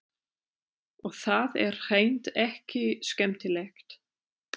Og það er hreint ekki skemmtilegt.